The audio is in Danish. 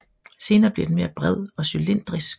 Senere bliver den mere bred og cylindrisk